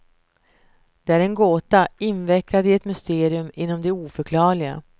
Det är en gåta, invecklad i ett mysterium inom det oförklarliga.